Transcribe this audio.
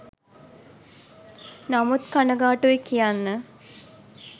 නමුත් කනගාටුයි කියන්න